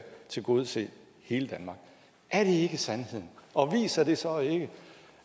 tilgodese hele danmark er det ikke sandheden og viser det så ikke